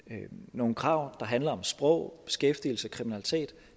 nogle krav der handler om sprog beskæftigelse og kriminalitet